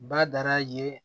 Badara ye